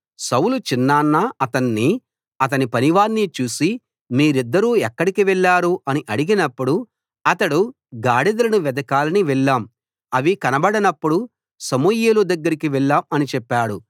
సౌలు చిన్నాన్న అతణ్ణి అతని పనివాణ్ణి చూసి మీరిద్దరూ ఎక్కడికి వెళ్ళారు అని అడిగినపుడు అతడు గాడిదలను వెదకాలని వెళ్ళాం అవి కనబడనప్పుడు సమూయేలు దగ్గరకి వెళ్ళాం అని చెప్పాడు